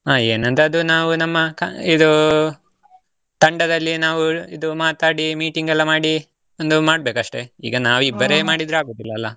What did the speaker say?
ಹಾ ಏನಂತ ಅದು ನಾವು ನಮ್ಮ ಕ~ ಇದು ತಂಡದಲ್ಲಿ ನಾವು ಇದು ಮಾತಾಡಿ, meeting ಎಲ್ಲ ಮಾಡಿ ಒಂದು ಮಾಡ್ಬೇಕಷ್ಟೆ, ಈಗ ನಾವು ಇಬ್ಬರೆ ಮಾಡಿದ್ರೆ ಆಗೋದಿಲ್ಲಲ್ಲ.